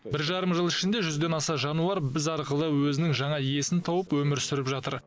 бір жарым жыл ішінде жүзден аса жануар біз арқылы өзінің жаңа иесін тауып өмір сүріп жатыр